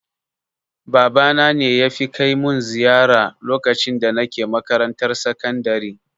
Babana ne yafi kai mun ziyara lokacin da nake makarantar sakandare